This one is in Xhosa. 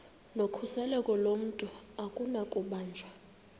nokhuseleko lomntu akunakubanjwa